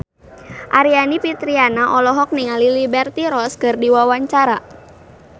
Aryani Fitriana olohok ningali Liberty Ross keur diwawancara